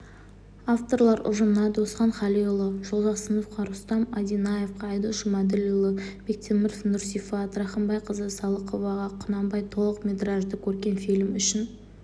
авторлар ұжымына досхан қалиұлы жолжақсыновқа рустам одинаевқа айдос жұмаділдіұлы бектемірге нұрсифат рахымбайқызы салықоваға құнанбай толық метражды көркем фильмі үшін